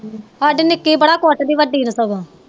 ਸਾਡੀ ਨਿੱਕੀ ਬੜਾ ਕੁੱਟਦੀ ਵੱਡੀ ਨੂੰ ਸਗੋਂ